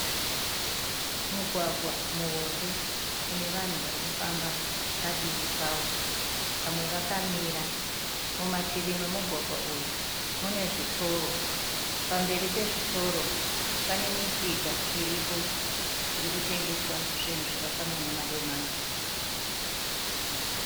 Mugwagwa muhombe unevanhu varikufamba padivi pawo vamwe vakamira. Mumativi pemugwagwa uyu munezvitoro. Pamberi pezvitoro panemisika iripo irikutengeswa zvinhu zvakafanana nemadomasi.